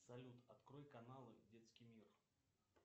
салют открой каналы детский мир